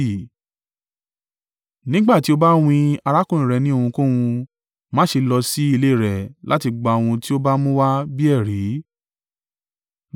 Nígbà tí o bá wín arákùnrin rẹ ní ohunkóhun, má ṣe lọ sí ilé rẹ̀ láti gba ohun tí ó bá mú wá bí ẹ̀rí.